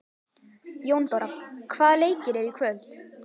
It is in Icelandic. Jóndóra, hvaða leikir eru í kvöld?